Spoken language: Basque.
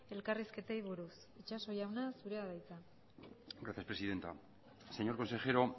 elkarrizketei buruz itxaso jauna zurea da hitza gracias presidenta señor consejero